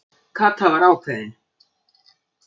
Kata var ákveðin.